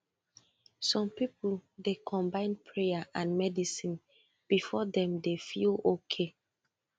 some people dey combine prayer and medicine before dem dey feel okay